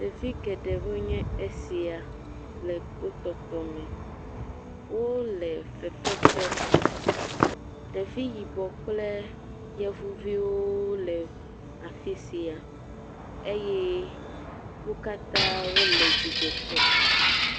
Ɖevi geɖewo nye esia le kpɔtɔtɔme. Wole fefe fem. Ɖevi Yibɔ kple Yevuviwo wole afi sia eye wo katã wole dzidzɔ kpɔm.